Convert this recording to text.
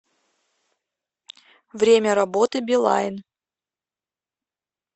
время работы билайн